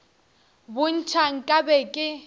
bo ntšha nka be ke